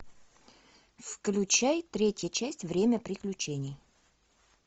включай третья часть время приключений